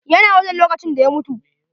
YA na wajen lokacin da ya mutu.